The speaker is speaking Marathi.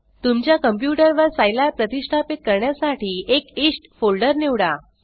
तुमच्या कंप्यूटर वर सिलाब प्रतिष्ठापित करण्यासाठी एक इष्ट फोल्डर निवडा